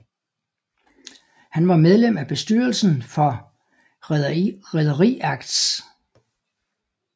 Han var medlem af bestyrelsen for Rederiakts